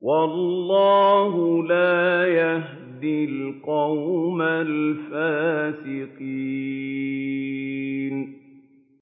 وَاللَّهُ لَا يَهْدِي الْقَوْمَ الْفَاسِقِينَ